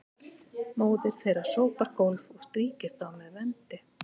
móðir þeirra sópar gólf og strýkir þá með vendi